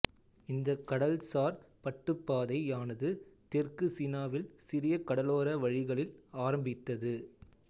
இந்த கடல் சார் பட்டுப்பாதையானது தெற்கு சீனாவில் சிறிய கடலோர வழிகளில் ஆரம்பித்தது